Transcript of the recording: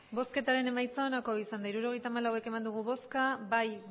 emandako botoak hirurogeita hamalau bai